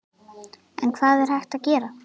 En hvað er hægt að gera?